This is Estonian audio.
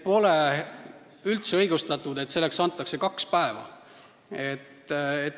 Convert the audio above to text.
Pole üldse õigustatud, et see on kaks päeva.